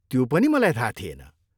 त्यो पनि मलाई थाहा थिएन।